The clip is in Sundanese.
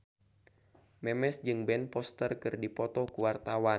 Memes jeung Ben Foster keur dipoto ku wartawan